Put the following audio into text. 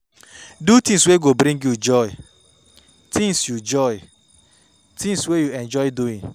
Do things wey go dey bring you joy, things you joy, things wey you enjoy doing